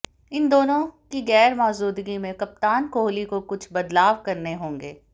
इन दोनों की गैर मौजूदगी में कप्तान कोहली को कुछ बदलाव करने होंगे